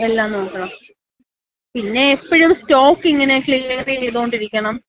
എല്ലാം നോക്കണം. പിന്നെ എപ്പഴും സ്റ്റോക്കിങ്ങനെ ക്ലിയറ് ചെയ്തോണ്ടിരിക്കണം.